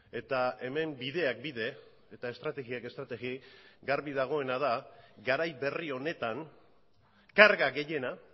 eta hemen bideak bide eta estrategiak estrategi garbi dagoena da garai berri honetan karga gehiena